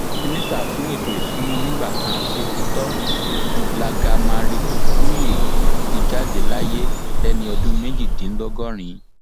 mínísítà fún ètò ìṣúná nígbà kan sètetò ju blágamaritàkuye ti jáde láyé lẹni ọdún méjìdínlọgọrin